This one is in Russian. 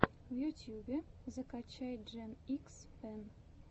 в ютьюбе закачай джен икс пен